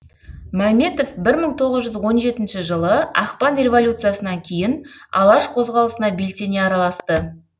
мәметов бір мың тоғыз жүз он жетінші жылы ақпан революциясынан кейін алаш қозғалысына белсене араласты